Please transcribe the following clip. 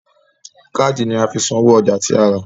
Káàdì ni a fi san owó ọjà tí a rà